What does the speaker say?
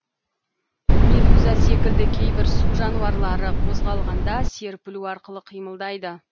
медуза секілді кейбір су жануарлары қозғалғанда серпілу арқылы қимылдайды